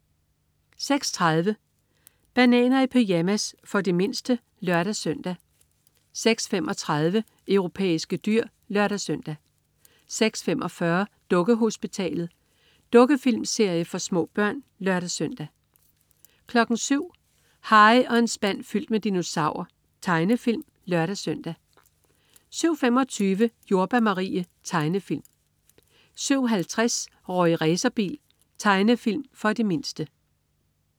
06.30 Bananer i pyjamas. For de mindste (lør-søn) 06.35 Europæiske dyr (lør-søn) 06.45 Dukkehospitalet. Dukkefilmserie for små børn (lør-søn) 07.00 Harry og en spand fyldt med dinosaurer. Tegnefilm (lør-søn) 07.25 Jordbær Marie. Tegnefilm 07.50 Rorri Racerbil. Tegnefilm for de mindste